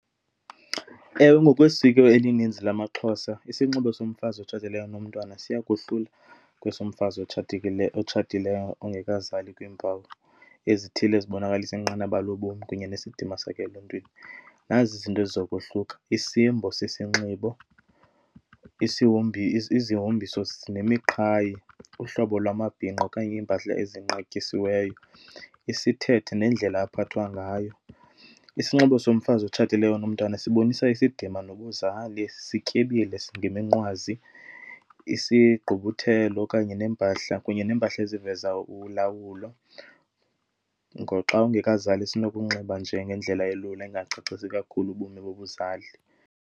Ewe, ngokwesiko elininzi lamaXhosa isinxibo somfazi otshatileyo onomntwana siya kohluka kweso mfazi otshatileyo, otshatileyo ongekazali kwiimpawu ezithile ezibonakalisa inqanaba lobomi kunye nesidima sakhe eluntwini. Nazi izinto eziza kohluka, isimbo sesinxibo, izihombiso zinemiqhayi ngohlobo lwamabhinqa okanye iimpahla ezinqatyisiweyo, isithethe nendlela aphathwa ngayo. Isinxibo somfazi otshatileyo onomntwana sibonisa isidima nobuzali, sityebile ngeminqwazi, isigqibuthelo okanye neempahla, kunye neempahla eziveza ulawulo. Ngoxa ungekazali sinokunxiba nje ngendlela elula engangacacisi kakhulu ubomi bobuzali.